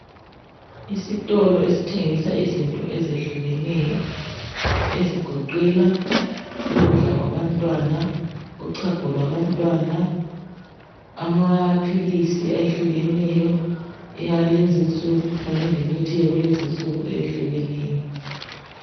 Isitolo esithengisa izinto ezehlukeneyo ezigoqela ukudla kwabantwana uchago lwabantwana amaphilisi ayehlukeneyo awalezi nsuku kanye lemithi yakulezi nsuku eyehlukeneyo.